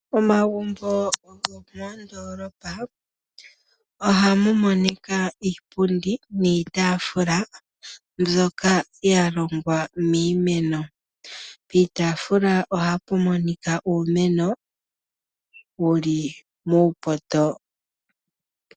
Omagumbo gomondolopa ohamu monika iipundi niitafula mbyoka ya longwa miimeno. Piitafula ohapu monika uumeno wuli muupoto.